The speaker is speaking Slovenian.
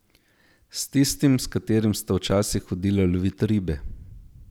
S tistim, s katerim sta včasih hodila lovit ribe.